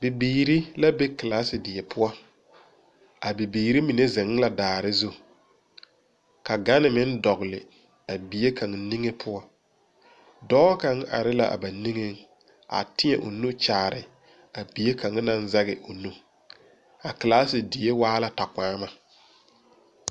Bibiiri la ba kelaase die poɔ. Abibiiri mine zeŋ la daare zu. Ka gane meŋ dɔgle a bie kaŋa niŋe poɔ. Dɔɔ kaŋa are la ba niŋeŋ, a teɛ o nu kyaare a bie kaŋa naŋ zɛge o nu. A kelaase die waa la takpᾱᾱma.